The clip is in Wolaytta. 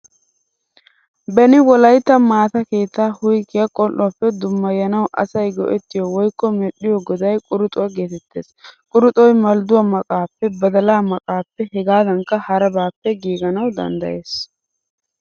Beni wolaytta maataa keetta huyggiyaa qol'uwaappe dummaayanawu asay go'ttiyo woykko medhdhiyo goday quruxxuwa geetettees. Qurixxoy maldduwaa maqqappe, badalaa maqqaappe hegadankka harabbaappe giiganawu danddayees.